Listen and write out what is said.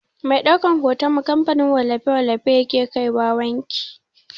Mai ɗaukan hoton mu kamfanin wallafe-wallafe yake kaiwa wanki.